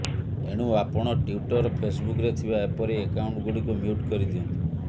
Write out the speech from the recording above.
ଏଣୁ ଆପଣ ଟ୍ୱିଟର୍ ଫେସ୍ବୁକ୍ରେ ଥିବା ଏପରି ଏକାଉଣ୍ଟଗୁଡିକୁ ମ୍ୟୁଟ୍ କରିଦିଅନ୍ତୁ